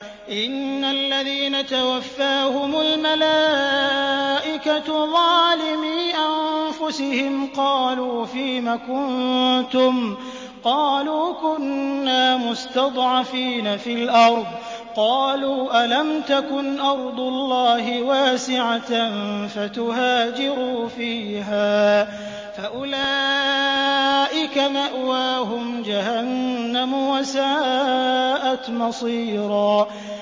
إِنَّ الَّذِينَ تَوَفَّاهُمُ الْمَلَائِكَةُ ظَالِمِي أَنفُسِهِمْ قَالُوا فِيمَ كُنتُمْ ۖ قَالُوا كُنَّا مُسْتَضْعَفِينَ فِي الْأَرْضِ ۚ قَالُوا أَلَمْ تَكُنْ أَرْضُ اللَّهِ وَاسِعَةً فَتُهَاجِرُوا فِيهَا ۚ فَأُولَٰئِكَ مَأْوَاهُمْ جَهَنَّمُ ۖ وَسَاءَتْ مَصِيرًا